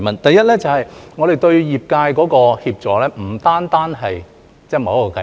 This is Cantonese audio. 第一，我們對於業界的協助，並不限於某一項計劃。